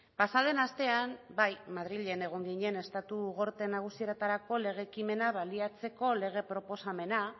pasaden astean bai madrilen egin ginen estatu gorte nagusietarako lege ekimena baliatzeko lege proposamena